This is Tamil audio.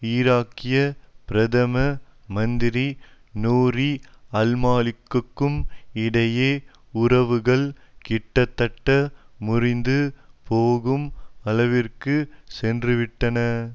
ஈராக்கிய பிரதம மந்திரி நூரி அல்மாலிக்கிக்கும் இடையே உறவுகள் கிட்டத்தட்ட முறிந்து போகும் அளவிற்கு சென்றுவிட்டன